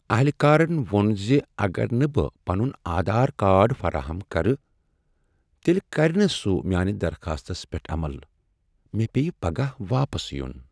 اہلکارن ووٚن ز اگر نہٕ بہٕ پنن آدھار کارڈ فراہم کرٕ، تیٚلہ کرِ نہٕ سُہ میانہ درخاستس پٮ۪ٹھ عمل۔ مےٚ پییہِ پگاہ واپس یُن ۔